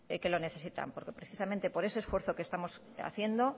que lo necesitan porque precisamente por ese esfuerzo que estamos haciendo